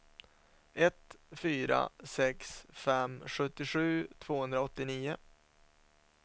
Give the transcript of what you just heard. ett fyra sex fem sjuttiosju tvåhundraåttionio